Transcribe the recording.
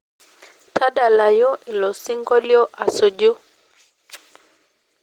tadalayu ilo sinkolio asuju